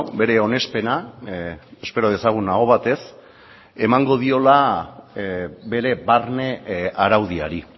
bere onespena espero dezagun aho batez emango diola bere barne araudiari